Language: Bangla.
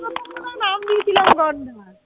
নাম দিয়েছিলাম গন্ডার